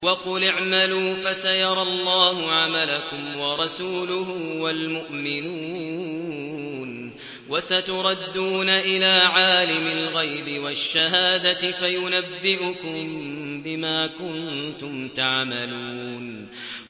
وَقُلِ اعْمَلُوا فَسَيَرَى اللَّهُ عَمَلَكُمْ وَرَسُولُهُ وَالْمُؤْمِنُونَ ۖ وَسَتُرَدُّونَ إِلَىٰ عَالِمِ الْغَيْبِ وَالشَّهَادَةِ فَيُنَبِّئُكُم بِمَا كُنتُمْ تَعْمَلُونَ